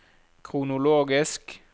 kronologisk